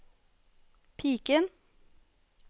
piken